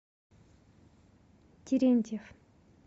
терентьев